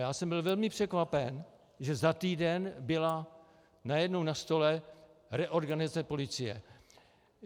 Já jsem byl velmi překvapen, že za týden byla najednou na stole reorganizace policie.